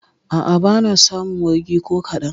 A'a, ba na samun wargi ko kaɗan.